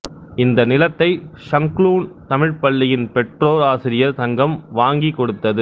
இந்த நிலத்தைச் சங்லூன் தமிழ்ப்பள்ளியின் பெற்றோர் ஆசிரியர் சங்கம் வாங்கிக் கொடுத்தது